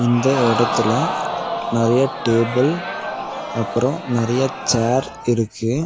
இந்த எடத்துல நறைய டேபிள் அப்பறோ நறைய சேர் இருக்கு.